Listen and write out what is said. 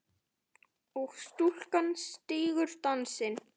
og stúlkan stígur dansinn